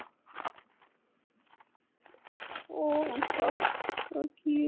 অহ fuck অহ কি